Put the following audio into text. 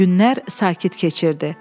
Günlər sakit keçirdi.